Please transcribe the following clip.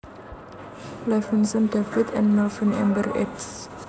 Levinson David and Melvin Ember eds